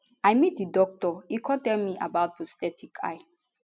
i meet di doctor e kon tell me about prosthetic eye